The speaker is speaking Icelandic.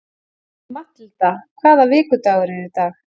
Mathilda, hvaða vikudagur er í dag?